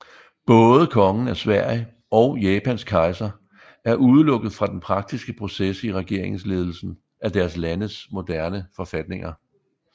Både Kongen af Sverige og Japans kejser er udelukket fra den praktiske proces i regeringsledelsen af deres landes moderne forfatninger